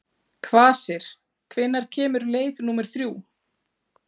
Kvasir, hvenær kemur leið númer þrjú?